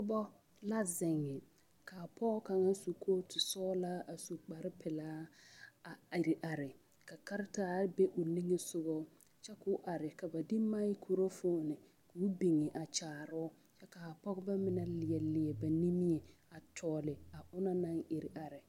Pɔba la ziŋ kaa pɔge kaŋ su kootu sɔglaa a su kpare pilaa a ire ka karetaare be o nigesɔgɔ kyɛ koo are ka ba de magkorofoni koo biŋ a kyaaroo a pɔgeba mine leɛleɛ ba nimie a tɔgle a onɔŋ naŋ ire are.